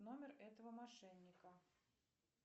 номер этого мошенника